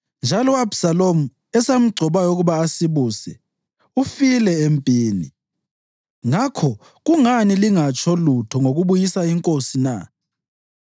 njalo u-Abhisalomu, esamgcobayo ukuba asibuse, ufile empini. Ngakho kungani lingatsho lutho ngokubuyisa inkosi na?”